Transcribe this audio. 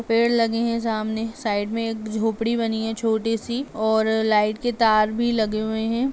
पेड़ लगे हैं सामने। साइड में एक झोपड़ी बनी है छोटी सी और लाइट के तार भी लगे हुए हैं।